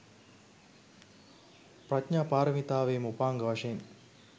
ප්‍රඥා පාරමිතාවේම උපාංග වශයෙන්